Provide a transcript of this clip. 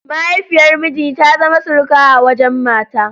Mahaifiyar miji ta zama surukata a wajen mata.